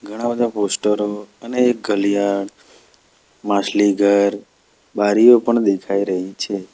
ઘણાં બધા પોસ્ટરો અને એક ઘલિયાળ માછલીઘર બારીઓ પણ દેખાઈ રહી છે.